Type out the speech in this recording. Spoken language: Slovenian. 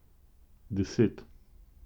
Deset.